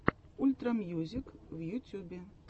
ультра мьюзик в ютюбе